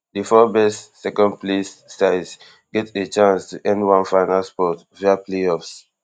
di four best secondplaced sides get a chance to earn one final spot via playoffs